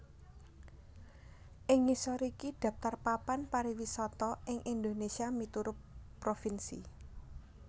Ing ngisor iki dhaptar papan pariwisata ing Indonésia miturut provinsi